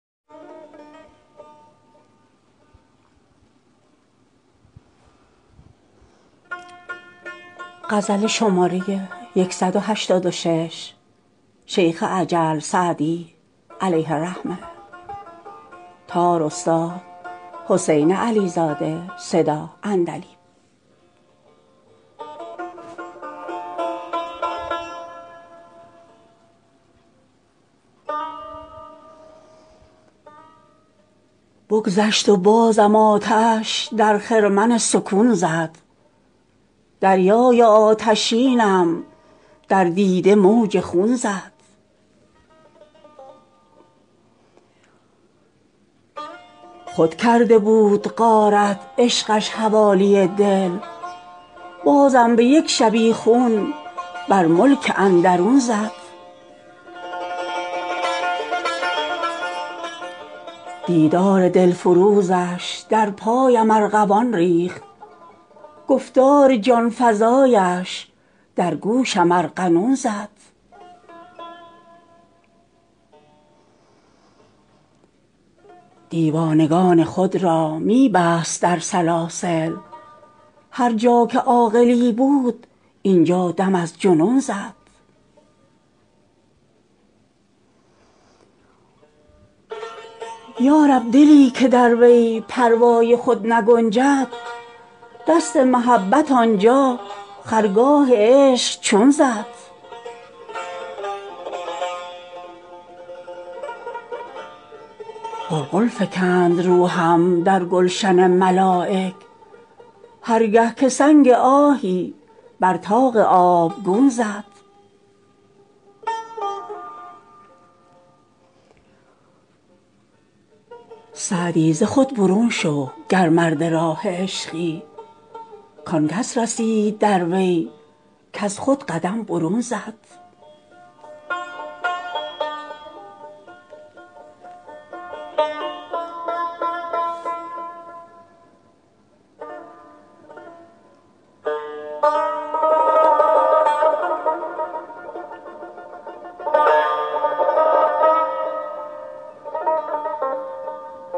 بگذشت و بازم آتش در خرمن سکون زد دریای آتشینم در دیده موج خون زد خود کرده بود غارت عشقش حوالی دل بازم به یک شبیخون بر ملک اندرون زد دیدار دلفروزش در پایم ارغوان ریخت گفتار جان فزایش در گوشم ارغنون زد دیوانگان خود را می بست در سلاسل هر جا که عاقلی بود اینجا دم از جنون زد یا رب دلی که در وی پروای خود نگنجد دست محبت آنجا خرگاه عشق چون زد غلغل فکند روحم در گلشن ملایک هر گه که سنگ آهی بر طاق آبگون زد سعدی ز خود برون شو گر مرد راه عشقی کان کس رسید در وی کز خود قدم برون زد